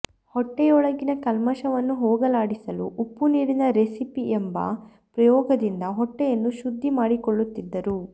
ಹೊಟ್ಟೆಯೊಳಗಿನ ಕಲ್ಮಶವನ್ನು ಹೋಗಲಾಡಿಸಲು ಉಪ್ಪು ನೀರಿನ ರೆಸಿಪಿ ಎಂಬ ಪ್ರಯೋಗದಿಂದ ಹೊಟ್ಟೆಯನ್ನು ಶುದ್ದಿ ಮಾಡಿಕೊಳ್ಳುತ್ತಿದ್ದರು